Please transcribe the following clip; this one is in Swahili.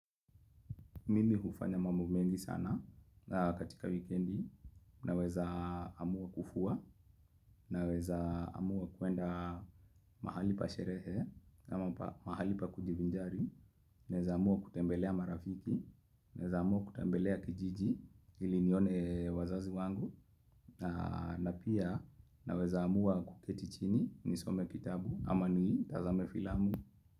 Mimi hufanya mambo mengi sana katika wikendi naweza amua kufua naweza amua kuenda mahali pa sherehe ama mahali pa kujivinjari naweza amua kutembelea marafiki naweza amua kutembelea kijiji ili nione wazazi wangu na na pia naweza amua kuketi chini nisome kitabu ama nitazame filamu.